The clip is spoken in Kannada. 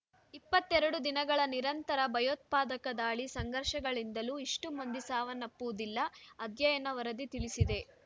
ಇಪ್ಪತ್ತೆರಡು ದಿನಗಳ ನಿರಂತರ ಭಯೋತ್ಪಾದಕ ದಾಳಿ ಸಂಘರ್ಷಗಳಿಂದಲೂ ಇಷ್ಟುಮಂದಿ ಸಾವನ್ನಪ್ಪುವುದಿಲ್ಲ ಅಧ್ಯಯನ ವರದಿ ತಿಳಿಸಿದೆ